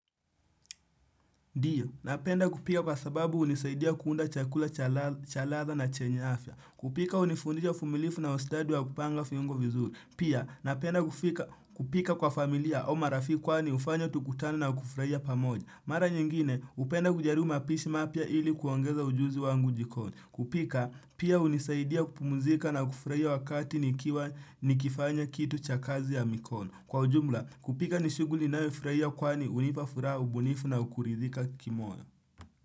Ndiyo, napenda kupika kwa sababu hunisaidia kuunda chakula cha ladha na chenya afya. Kupika hunifundisha uvumilivu na ustadi wa kupanga viungo vizuri. Pia, napenda kupika kwa familia au marafiki kwani hufanya tukutane na kufurahia pamoja. Mara nyingine, hupenda kujaribu mapishi mapya ili kuongeza ujuzi wangu jikoni. Kupika, pia hunisaidia kupumzika na kufurahia wakati nikifanya kitu cha kazi ya mikono. Kwa ujumla, kupika ni shughuli ninayofurahia kwani hunipa furaha ubunifu na kuridhika kimoyo.